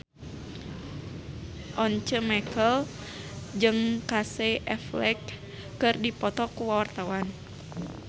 Once Mekel jeung Casey Affleck keur dipoto ku wartawan